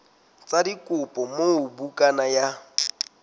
sa dikopo moo bukana ya